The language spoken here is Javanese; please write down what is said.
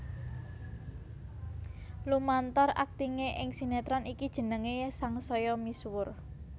Lumantar aktingé ing sinétron iki jenengé sangsaya misuwur